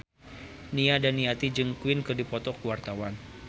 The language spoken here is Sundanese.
Nia Daniati jeung Queen keur dipoto ku wartawan